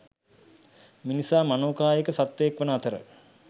මිනිසා මනෝකායික සත්වයෙක් වන අතර